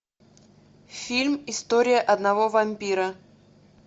фильм история одного вампира